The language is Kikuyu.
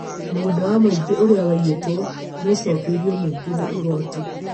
Mũgũnda wa mũingĩ ũrĩa waiyĩtwo nĩ ũcokeĩrio mũingĩ nĩ igooti